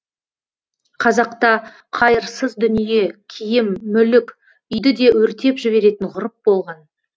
қазақта қайырсыз дүние киім мүлік үйді де өртеп жіберетін ғұрып болған